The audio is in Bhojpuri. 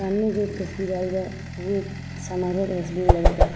सामने जो एक तस्वीर आइल बा उ एक समारोह तस्वीर लगाता-र्।